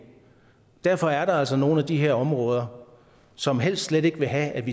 derfor er der altså nogle af de her områder som helst slet ikke vil have